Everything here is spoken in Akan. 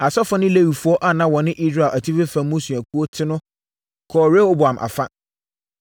Asɔfoɔ ne Lewifoɔ a na wɔne Israel atifi fam mmusuakuo te no kɔɔ Rehoboam afa.